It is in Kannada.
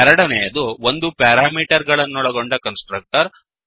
ಎರಡನೆಯದು ಒಂದು ಪ್ಯಾರಾಮೀಟರನ್ನೊಳಗೊಂಡ ಕನ್ಸ್ ಟ್ರಕ್ಟರ್